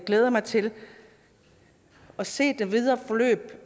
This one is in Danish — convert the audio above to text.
glæder mig til at se det videre forløb